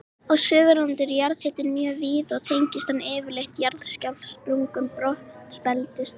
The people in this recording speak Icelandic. Á Suðurlandi er jarðhiti mjög víða og tengist hann yfirleitt jarðskjálftasprungum brotabeltisins þar.